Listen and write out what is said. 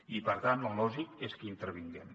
i per tant el lògic és que hi intervinguem